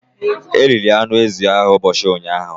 The goat meat was eaten yesterday.